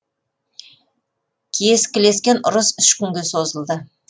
кескілескен ұрыс үш күнге созылды